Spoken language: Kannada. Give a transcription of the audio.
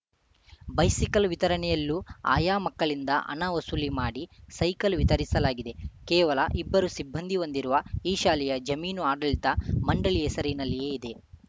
ಬೈಸಿಕಲ್‌ ವಿತರಣೆಯಲ್ಲೂ ಆಯಾ ಮಕ್ಕಳಿಂದ ಹಣ ವಸೂಲಿ ಮಾಡಿ ಸೈಕಲ್‌ ವಿತರಿಸಲಾಗಿದೆ ಕೇವಲ ಇಬ್ಬರು ಸಿಬ್ಬಂದಿ ಹೊಂದಿರುವ ಈ ಶಾಲೆಯ ಜಮೀನು ಆಡಳಿತ ಮಂಡಳಿ ಹೆಸರಿನಲ್ಲಿಯೇ ಇದೆ